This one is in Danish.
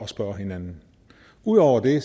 spørge hinanden ud over det